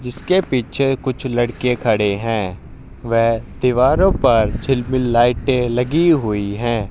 जिसके पीछे कुछ लड़के खड़े हैं वेह दिवारो पर चिलमिल लाइटे लगी हुई हैं।